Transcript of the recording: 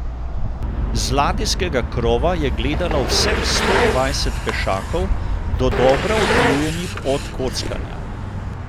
Z ladijskega krova je gledalo vseh sto dvajset pešakov, dodobra utrujenih od kockanja.